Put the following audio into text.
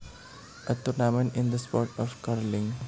A tournament in the sport of curling